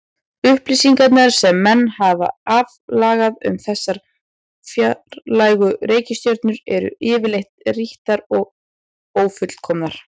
Upplýsingarnar sem menn hafa aflað um þessar fjarlægu reikistjörnur eru yfirleitt rýrar og ófullkomnar.